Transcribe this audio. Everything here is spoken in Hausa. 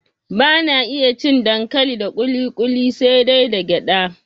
Bana iya cin dankali da kuli kuli sai dai da gyada